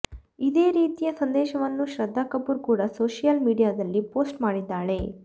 ಇದೇ ರೀತಿಯ ಸಂದೇಶವನ್ನು ಶ್ರದ್ಧಾ ಕಪೂರ್ ಕೂಡ ಸೋಷಿಯಲ್ ಮೀಡಿಯಾದಲ್ಲಿ ಪೋಸ್ಟ್ ಮಾಡಿದ್ದಾಳೆ